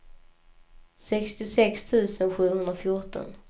sextiosex tusen sjuhundrafjorton